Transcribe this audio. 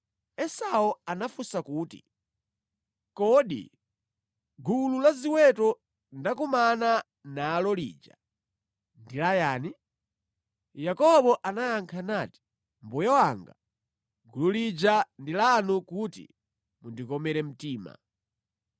Esau anafunsa kuti, “Kodi gulu la ziweto ndakumana nalo lija ndi layani?” Yakobo anayankha nati, “Mbuye wanga, gulu lija ndi lanu kuti mundikomere mtima.”